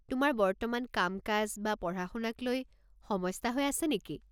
তোমাৰ বর্তমান কাম-কাজ বা পঢ়া-শুনাক লৈ সমস্যা হৈ আছে নেকি?